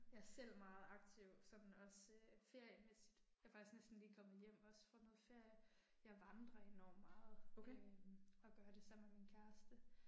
Jeg er selv meget aktiv sådan også feriemæssigt. Jeg er faktisk næsten lige kommet hjem også fra noget ferie. Jeg vandrer enormt meget øh og gør det sammen med min kæreste